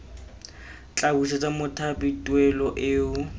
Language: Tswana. tla busetsa mothapi tuelo eo